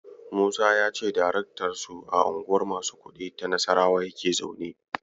Musa ya ce daraktansu a Unguwar masu kuɗi ta Nassarawa yake zaune.